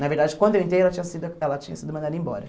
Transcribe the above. Na verdade, quando eu entrei, ela tinha sido ela tinha sido mandada embora.